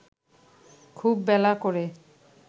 খুব বেলা করে